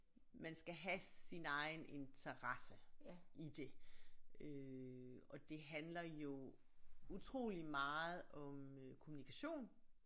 Man skal have sin egen interesse i det øh og det handler jo utrolig meget om øh kommunikation